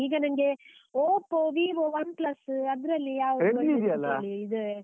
ಈಗ ನಂಗೆ Oppo, Vivo, OnePlus , ಅದ್ರಲ್ಲಿ ಯಾವ್ದಾದ್ರು .